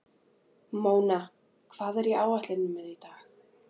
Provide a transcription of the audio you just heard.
Móna, hvað er á áætluninni minni í dag?